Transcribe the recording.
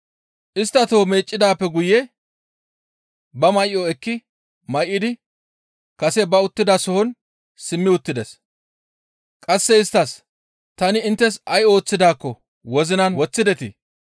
Istta toho meeccidaappe guye ba may7o ekki may7idi kase ba uttidasohon simmi uttides. Qasse isttas, «Ta inttes ay ooththidaakko wozinan woththidetii?